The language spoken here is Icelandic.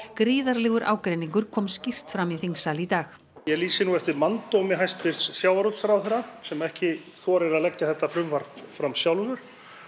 gríðarlegur ágreiningur kristallaðist kom skýrt fram í þingsal í dag ég lýsi nú eftir manndómi hæstvirts sjávarútvegsráðherra sem ekki þorir að leggja þetta frumvarp fram sjálfur